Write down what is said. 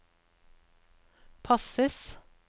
passes